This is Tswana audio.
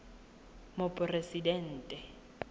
moporesidente